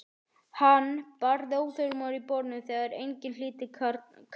Hann barði óþolinmóður í borðið þegar enginn hlýddi kallinu.